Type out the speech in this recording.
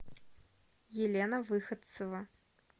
елена выходцева